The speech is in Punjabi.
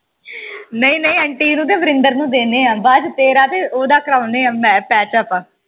ਨਹੀਂ ਨਹੀਂ ਆਂਟੀ ਨੂੰ ਤੇ ਵਰਿੰਦਰ ਨੂੰ ਦੀਨੇ ਆ ਬਾਅਦ ਚ ਤੇਰਾ ਤੇ ਓਦਾਂ ਕਰਾਉਨੇ ਆ patch up